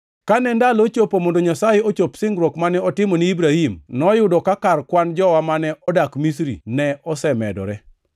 “Kane ndalo ochopo mondo Nyasaye ochop singruok mane otimo ni Ibrahim, noyudo ka kar kwan jowa mane odak Misri ne osemedore.